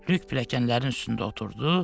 Lük pilləkənlərin üstündə oturdu.